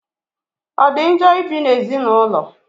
O di njọ ibi n'ezigbo ụlọ?